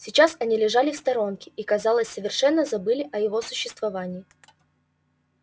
сейчас они лежали в сторонке и казалось совершенно забыли о его существовании